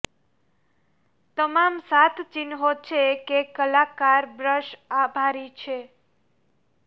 તમામ સાત ચિહ્નો છે કે કલાકાર બ્રશ આભારી છે